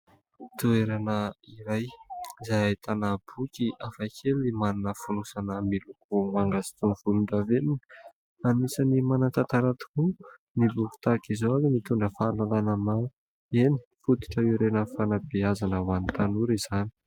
Toerana iray izay ahitana boky hafa kely manana fonosana miloko manga sy volon-davenona. Anisany manan-tantara tokoa ny boky tahaka izao ary mitondra fahalalana maro. Eny fototra iray amin'ny fanambeazana ho an'ny tanora izany.